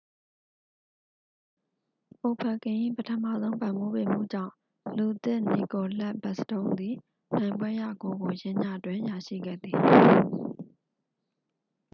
အိုဗက်ကင်၏ ပထမဆုံး ပံ့ပိုးပေးမှုကြောင့် လူသစ် နီကိုလက် ဘက်စတုန်းသည် နိုင်ပွဲရဂိုးကို ယင်းညတွင် ရရှိခဲ့သည်